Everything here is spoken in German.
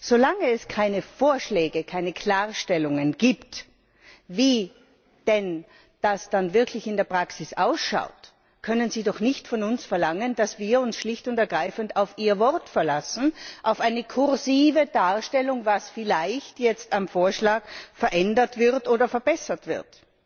Solange es keine Vorschläge, keine Klarstellungen gibt, wie denn das dann wirklich in der Praxis ausschaut, können Sie doch nicht von uns verlangen, dass wir uns schlicht und ergreifend auf Ihr Wort verlassen, auf eine kursive Darstellung, was vielleicht jetzt am Vorschlag verändert oder verbessert wird!